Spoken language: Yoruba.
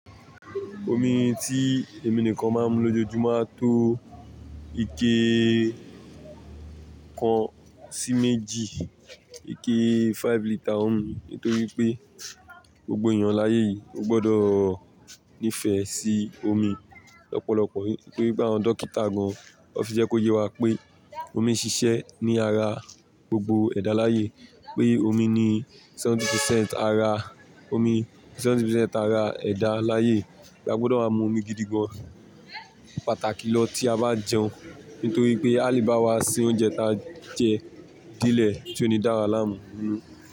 Omi tí èmi nìkan máa ń mu lójoojúmo á tó ike kan sí méjì, ike five litre ómi. Nítorí pé gbogbo èeyàn láyé yìí ó gbọdọ̀ nífẹ̀ẹ́ sí omi lọ́pọ̀lọpọ̀. Nítorí pé àwọn dọ́kítà gan won fi jẹ́ kó ye wa pé omi ń ṣiṣẹ́ ní ara gbogbo ẹ̀dá láyé yii. Pé omi ní seventy percent ara, omi seventy percent ara ẹ̀dá láyé yii. A gbọdọ̀ máa mu omi gidi gan, pàtàkì lọ tí a bá jẹun. Ntorí pé à le bà wá se oúnjẹ ta jẹ de lẹ̀ tí ó ní dáwa lámù.